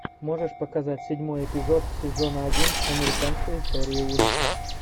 можешь показать седьмой эпизод сезона один американская история ужасов